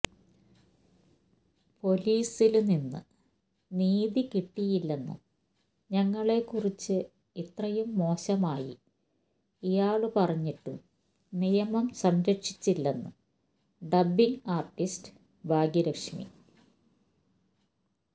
പൊലീസില് നിന്ന് നീതി കിട്ടിയില്ലെന്നും ഞങ്ങളെക്കുറിച്ച് ഇത്രയും മോശമായി ഇയാള് പറഞ്ഞിട്ടും നിയമം സംരക്ഷിച്ചില്ലെന്ന് ഡബ്ബിംഗ് ആര്ട്ടിസ്റ്റ് ഭാഗ്യലക്ഷ്മി